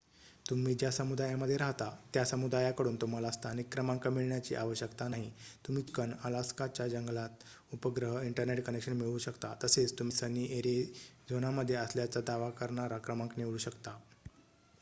तुम्ही ज्या समुदायामध्ये राहता त्या समुदायाकडून तुम्हाला स्थानिक क्रमांक मिळण्याची आवश्यकता नाही तुम्ही चिकन अलास्काच्या जंगलात उपग्रह इंटरनेट कनेक्शन मिळवू शकता तसेच तुम्ही सनी एरिझोनामध्ये असल्याचा दावा करणारा क्रमांक निवडू शकता